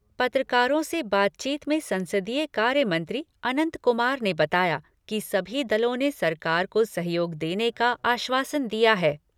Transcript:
पत्रकारों से बातचीत में संसदीय कार्य मंत्री अनंत कुमार ने बताया कि सभी दलों ने सरकार को सहयोग देने का आश्वासन दिया है।